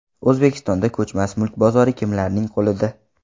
O‘zbekistonda ko‘chmas mulk bozori kimlarning qo‘lida?.